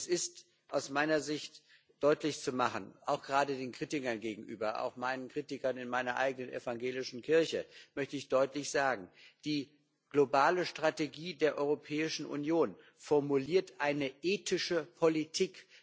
Es ist aus meiner Sicht deutlich zu machen, auch gerade den Kritikern gegenüber, auch meinen Kritikern in meiner eigenen evangelischen Kirche möchte ich deutlich sagen Die globale Strategie der Europäischen Union formuliert eine ethische Politik.